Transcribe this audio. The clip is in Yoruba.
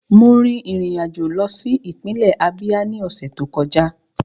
Mo rin ìrìn àjò lọ sí ìpínlẹ̀ Ábíá ní ọ̀sẹ̀ tó kọjá